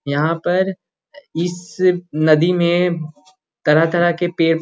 यहाँ पर इस नदी में तरह-तरह के पे --